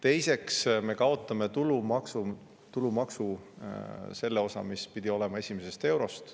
Teiseks, me kaotame tulumaksu selle osa, mis pidi olema esimesest eurost.